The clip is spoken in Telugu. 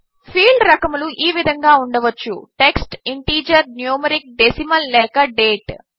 ఫీల్డ్ రకములు ఈ విధంగా ఉండవచ్చు టెక్స్ట్ ఇంటిజర్ న్యూమరిక్ డెసిమల్ లేక డేట్